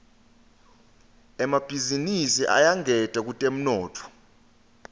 emabhizinisi ayangeta kutemnotfo